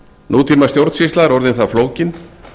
nútíma stjórnsýsla er orðin það flókin